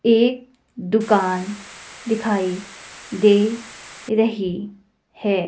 एक दुकान दिखाई दे रही है।